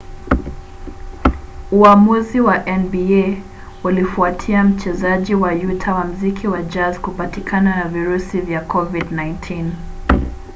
uamuzi wa nba ulifuatia mchezaji wa utah wa mziki wa jazz kupatikana na virusi vya covid-19